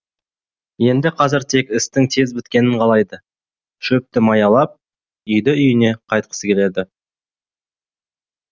енді қазір тек істің тез біткенін қалайды шөпті маялап үйді үйіне қайтқысы келеді